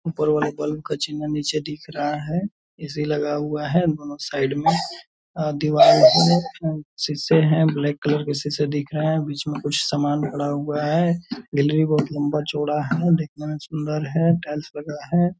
ऊपर वाले बल्ब का चिना नीचे दिख रहा है। ए.सी. लगा हुआ है दोनों साइड में और दीवार पे शीशे हैं ब्लेक कलर के शीशे दिख रहे हैबीच में कुछ सामान पड़ा हुआ है। गैलरी बहुत लंबा चौड़ा है देखने में सुंदर है टाइल्स लगा है।